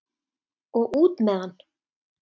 Og út með hann!